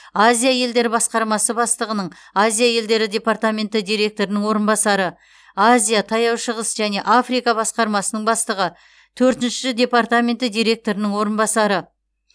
азия елдері басқармасы бастығының азия елдері департаменті директорының орынбасары азия таяу шығыс және африка басқармасының бастығы төртінші департаменті директорының орынбасары